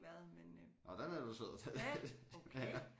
Ja der har jeg ikke været men øh